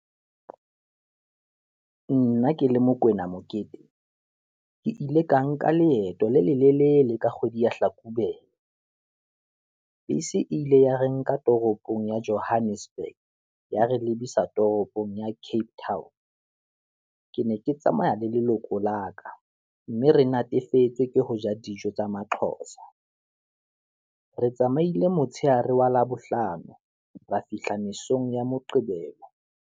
Nna ke le Mokoena Mokete, ke ile ka nka leeto le lelelele ka kgwedi ya hlakubele, bese e ile ya re nka toropong ya Johannesburg ya re lebisa toropong ya Cape Town. Ke ne ke tsamaya le leloko la ka, mme re natefetswe ke ho ja dijo tsa maqhotsa, re tsamaile motshehare wa labohlano, ra fihla mesong ya moqebelo.